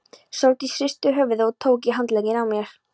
Sóldís hristi höfuðið og tók í handlegginn á mér.